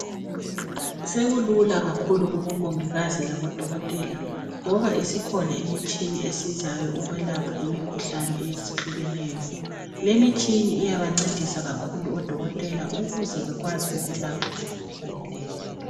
Sekulula kakhulu kubomongikazi labodokotela ngoba isikhona imitshina esizayo ukwelapha imikhuhlane ehlukeneyo. Lemitshina iyabancedisa kakhulu odokotela ukuze bekwazi ukulapha nje imikhuhlane leyi.